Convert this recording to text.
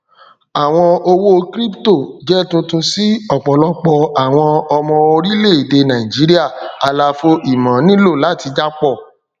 àwọn owó crypto jẹ tuntun si ọpọlọpọ àwọn ọmọ orílẹèdè nàìjíría àlàfo ìmọ nílò láti jápọ